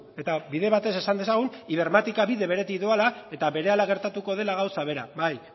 eta bide batez esan dezagun ibermática bide beretik doala eta berehala gertatuko dela gauza bera bai